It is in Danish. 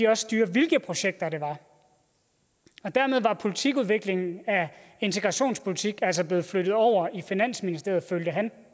også styre hvilke projekter det var dermed var politikudviklingen af integrationspolitikken altså blevet flyttet over i finansministeriet følte han